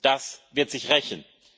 Das wird sich rächen.